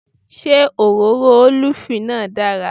Ṣé òróró ólìfù náà dára